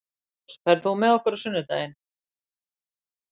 Særós, ferð þú með okkur á sunnudaginn?